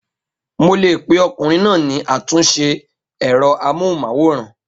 Mo lè pe ọkùnrin náà ní àtúnṣe ẹ̀rọ amóhùnmáwòrán.